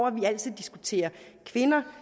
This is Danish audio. at vi altid diskuterer kvinder